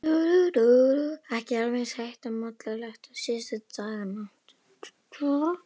Ekki alveg eins heitt og mollulegt og síðustu daga.